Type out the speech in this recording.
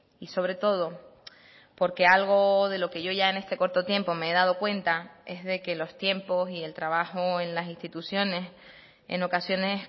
y sobre todo porque algo de lo que yo ya en este corto tiempo me he dado cuenta es de que los tiempos y el trabajo en las instituciones en ocasiones